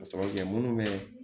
Ka sababu kɛ munnu bɛ